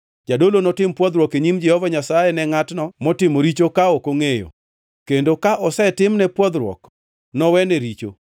Jadolo notim pwodhruok e nyim Jehova Nyasaye ne ngʼatno motimo richo ka ok ongʼeyo, kendo ka osetimne pwodhruok, nowene richo.